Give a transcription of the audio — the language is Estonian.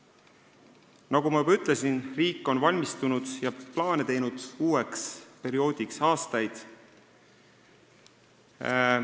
Nagu ma juba ütlesin, riik on aastaid valmistunud uueks perioodiks ja plaane teinud.